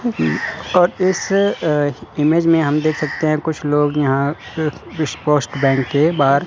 अ और इस अह इमेज में हम देख सकते हैं कुछ लोग यहां इस पोस्ट बैंक के बाहर--